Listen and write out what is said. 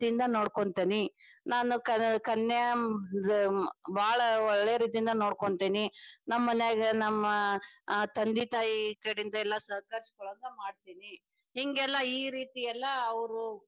ನೊಡ್ಕೊಂತೇನಿ ನಾನ ಕ~ ಕನ್ಯಾ ಇದ ಬಾಳ ಒಳ್ಳೆ ರೀತಿಯಿಂದ ನೊಡ್ಕೊಂತೇನಿ. ನಮ್ಮ ಮನ್ಯಾಗ ನಮ್ಮ ತಂದಿ ತಾಯಿ ಕಡಿಯಿಂದ ಎಲ್ಲಾ ಸಹಕರಿಸಿಕೊಳ್ಳಂಗ ಮಾಡ್ತೇನಿ. ಹಿಂಗೆಲ್ಲಾ ಈ ರೀತಿಯಲ್ಲಾ ಅವ್ರು.